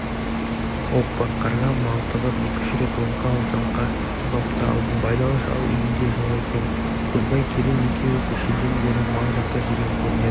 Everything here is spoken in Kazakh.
оппа қарға малтығып екі-үш рет оңқа-шоңқа құлап та алдым байдалы шал үйінде жоқ екен көлбай керең екеуі кешеден бері мал жақта жүрген көрінеді